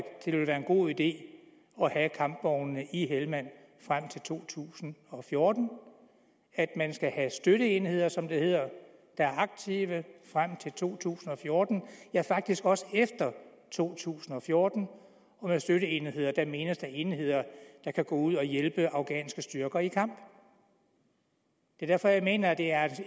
det vil være en god idé at have kampvognene i helmand frem til to tusind og fjorten at man skal have støtteenheder som det hedder der er aktive frem til to tusind og fjorten ja faktisk også efter to tusind og fjorten med støtteenheder menes der enheder der kan gå ud at hjælpe afghanske styrker i kamp det er derfor jeg mener at det er